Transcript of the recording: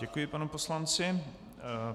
Děkuji panu poslanci.